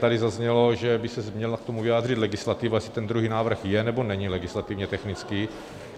Tady zaznělo, že by se měla k tomu vyjádřit legislativa, jestli ten druhý návrh je, nebo není legislativně technický.